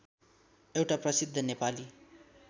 एउटा प्रसिद्ध नेपाली